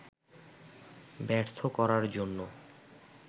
ব্যর্থ করার জন্য